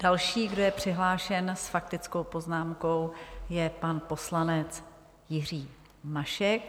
Další, kdo je přihlášen s faktickou poznámkou, je pan poslanec Jiří Mašek.